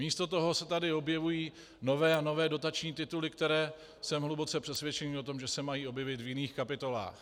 Místo toho se tady objevují nové a nové dotační tituly, které jsem hluboce přesvědčen o tom, že se mají objevit v jiných kapitolách.